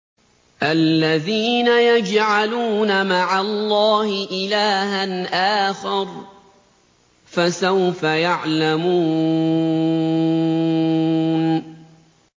الَّذِينَ يَجْعَلُونَ مَعَ اللَّهِ إِلَٰهًا آخَرَ ۚ فَسَوْفَ يَعْلَمُونَ